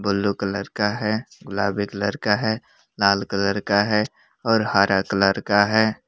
Blue colour का है गुलाबी कलर का है लाल कलर का है और हरा कलर का है।